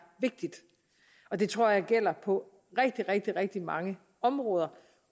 vigtigt og det tror jeg gælder på rigtig rigtig rigtig mange områder